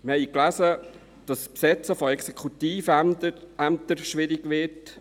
Wir haben gelesen, dass das Besetzen von Exekutivämtern schwierig wird;